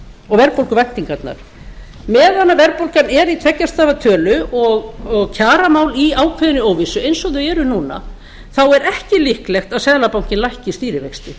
og verðbólguvæntingarnar meðan að verðbólgan er í tveggja stafa tölu og kjaramál eru í ákveðinni óvissu eins og þau eru núna þá er ekki líklegt að seðlabankinn lækki stýrivexti